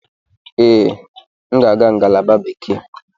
Ee, m ga-aga ngalaba Bekee.